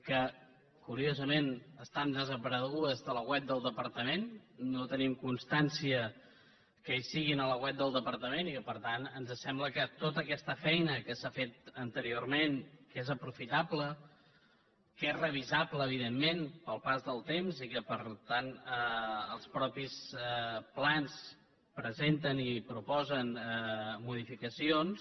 que curiosament està desapareguda de la web del departament no tenim constància que hi sigui a la web del departament i que per tant ens sembla que tota aquesta feina que s’ha fet anteriorment que és aprofitable que és revisable evidentment pel pas de temps i que per tant els mateixos plans presenten i proposen modificacions